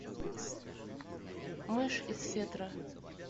мышь из фетра